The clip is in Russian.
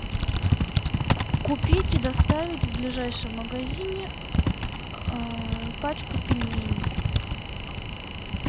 купить и доставить в ближайшем магазине пачку пельменей